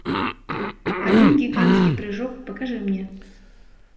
один гигантский прыжок покажи мне